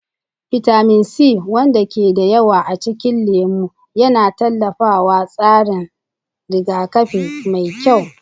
Bitamin C, wanda ke da yawa a cikin lemu, yana tallafawa tsarin rigakafi mai kyau.